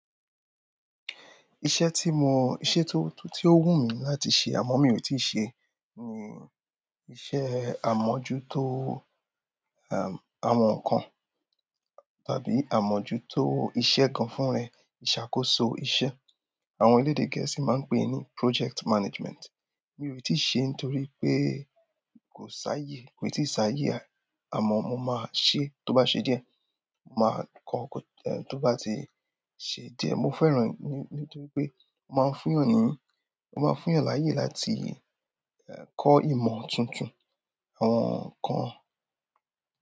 Iṣẹ́ tí mo, iṣẹ́ tó, tó wù mí láti ṣe àmọ́ mi ò tíì ṣe, ni iṣẹ́ àmójútó em, àwọn nǹkan tàbí àmójútó iṣẹ́ kan fún ẹni, ìṣàkóso iṣẹ́. Àwọn elédè Gẹ̀ẹ́sì máa ń pè é ní project management. Mi ò tí ì ṣe ẹ́ nítorí pé kò sá yé, kò tí ì sá yé àmọ́ mo máa ṣe é tó bá ṣe díẹ̀. Mo máa kọ́ ó tó bá ti ṣe díẹ̀. Mo fẹ́ràn ní, nítorí pé ó máa ń fún èèyàn ní, ó máa ń fún èèyàn láyè láti kọ́ ìmọ̀ tuntun, àwọn nǹkan.